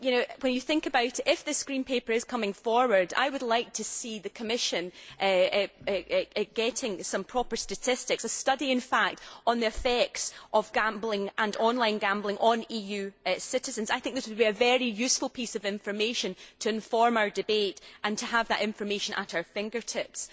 When you think about it, if this green paper is coming forward, I would like to see the Commission getting some proper statistics a study in fact on the effects of gambling and online gambling on EU citizens. I think this would be a very useful piece of information to inform our debate and to have at our fingertips.